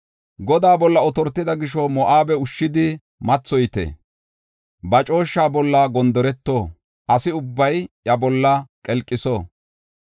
Godaa bolla otortida gisho, Moo7abe ushshidi mathoyite. Ba cooshshaa bolla gondoreto; asa ubbay iya bolla qelqiso.